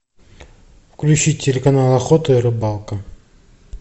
включить телеканал охота и рыбалка